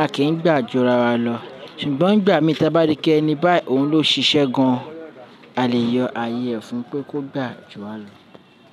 a kì n gbà ju ara wa lọ. Ṣùgbọ́n n gbà mìí ti a bá rí pe ẹ́ni bá òhun ló ṣiṣẹ́ gan-an, a lè yọ ààyè fun pé kó gbà ju wa lọ.